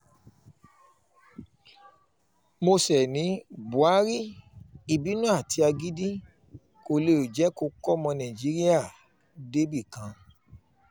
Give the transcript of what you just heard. mósè ní buhari ìbínú àti agídí kó lè lè jẹ́ kó kọ́ ọmọ nàìjíríà débì kan